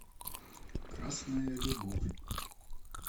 красная любовь